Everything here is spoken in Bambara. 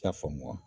I y'a faamu wa